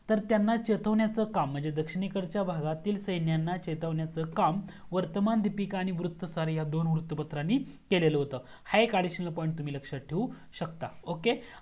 तर त्यांना चेतावण्याचा काम म्हणजे दक्षिणे कडच्या भागातील सैन्यांना चैतवण्याच काम वर्तमान दीपिका आणि वृत्तसर ह्या वृत्तपत्रांनी केलेलं होतं हा एक additional point तुम्ही लक्ष्यात ठेवू शकता okay